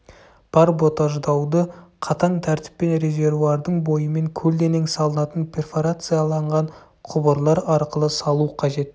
барботаждауды қатаң тәртіппен резервуардың бойымен көлденең салынатын перфорацияланған құбырлар арқылы салу қажет